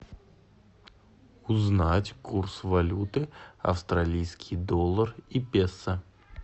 узнать курс валюты австралийский доллар и песо